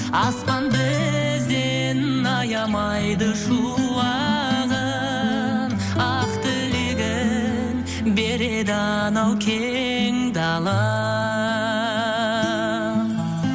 аспан бізден аямайды шуағын ақ тілегін береді анау кең далам